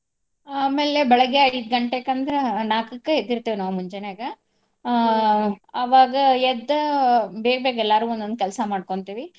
ಆಮೇಲೆ ಬೆಳಿಗ್ಗೆ ಐದ್ ಗಂಟೆಕ್ ಅಂದ್ರ ನಾಕಕ್ಕ ಎದ್ದಿರ್ತೇವ ನಾವ್ ಮುಂಜೆನ್ಯಾಗ ಅವಾಗ ಎದ್ದ ಬೇಗ್ ಬೇಗ್ ಎಲ್ಲಾರೂ ಒಂದೊಂದ್ ಕೆಲ್ಸ ಮಾಡ್ಕೋಂತೇವಿ.